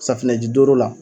Safunɛji doro la